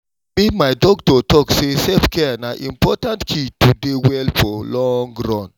i mean my doctor talk say self-care na important key to dey well for long run.